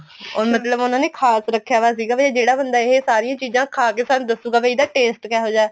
ਮਤਲਬ ਉਹਨਾ ਨੇ ਖ਼ਾਸ ਰੱਖਿਆ ਵੇ ਸੀਗਾ ਜਿਹੜਾ ਬੰਦਾ ਇਹ ਸਾਰੀਆਂ ਚੀਜ਼ਾਂ ਖਾ ਕੇ ਸਾਨੂੰ ਦੱਸੂਗਾ ਵੀ ਇਹਦਾ taste ਕਿਹੋਜਾ ਹੈ